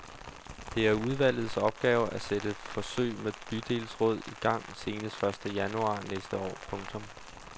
Det er udvalgets opgave et sætte forsøg med bydelsråd i gang senest første januar næste år. punktum